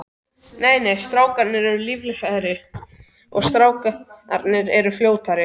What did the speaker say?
Nei nei, strákarnir eru lífseigari og strákarnir eru fljótari.